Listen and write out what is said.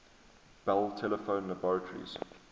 bell telephone laboratories